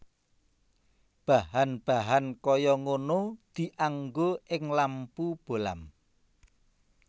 Bahan bahan kaya ngono dianggo ing lampu bohlam